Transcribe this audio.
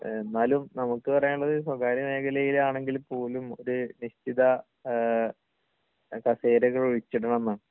എന്നാലും നമുക്ക് പറയാനുള്ളത് സ്വകാര്യ മേഖലയിൽ ആണെങ്കിൽ പോലും ഒരു നിശ്ചിത കസേരകൾ ഒഴിച്ചിടണം എന്നാണ്.